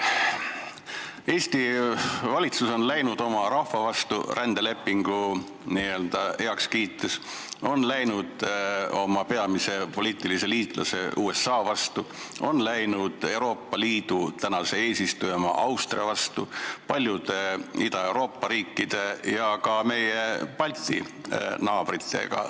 Eesti valitsus on läinud rändelepingut heaks kiites oma rahva vastu, on läinud oma peamise poliitilise liitlase USA vastu, on läinud Euroopa Liidu eesistuja Austria vastu, on läinud teist teed paljude Ida-Euroopa riikide ja ka meie Balti naabritega.